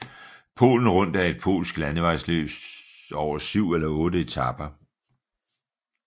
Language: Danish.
Polen Rundt er et polsk landevejsløb over syv eller otte etaper